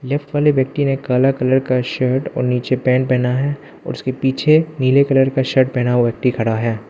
एक फले व्यक्ति ने काला कलर का शर्ट और नीचे पेंट पहना है और उसके पीछे नीले कलर का शर्ट पहना हुआ व्यक्ति खड़ा है।